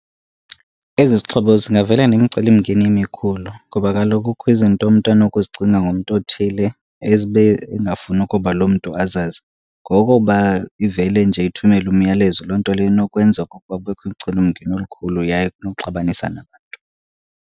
Ezi zixhobo zingavela nemicelimngeni emikhulu, ngoba kaloku kukho izinto umntu anokuzicinga ngomntu othile ezibe engafuni ukuba loo mntu azazi. Ngokuba ivele nje ithumele umyalezo loo nto leyo inokwenza okokuba kubekho umcelimngeni omkhulu yaye kunokuxabanisa nabantu.